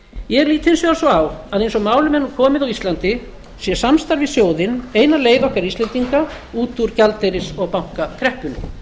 ég lít hins vegar svo á að eins og málum er nú komið á íslandi sé samstarf við sjóðinn eina leið okkar íslendinga út úr gjaldeyris og bankakreppunni